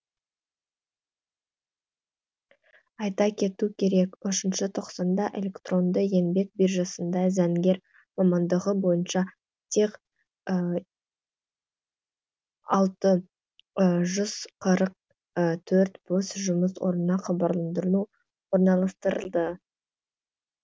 айта кету керек үшінші тоқсанда электронды еңбек биржасында заңгер мамандығы бойынша тек алты жүз қырық төрт бос жұмыс орнына хабарландыру орналастырылды